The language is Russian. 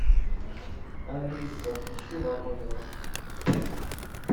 алиса включи ворониных